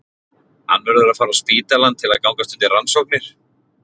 Hann verður að fara á spítalann til að gangast undir rannsóknir.